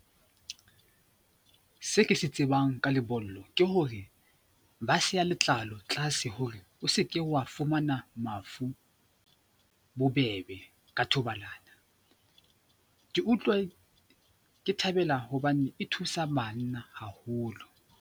Se ke se tsebang ka lebollo ke hore ba seha letlalo tlaase hore o seke wa fumana mafu bobebe ka thobalano. Ke utlwa ke thabela hobane e thusa banna haholo.